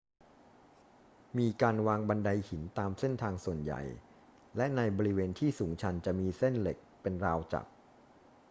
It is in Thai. มีการวางบันไดหินตามเส้นทางส่วนใหญ่ และในบริเวณที่สูงชันจะมีเส้นเหล็กเป็นราวจับ